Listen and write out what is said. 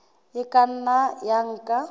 e ka nna ya nka